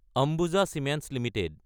Ambuja cements Ltd